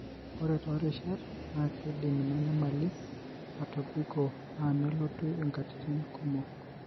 ore torishat, na kidim ina nyamali atobiko na nelotu inkatitin kumok.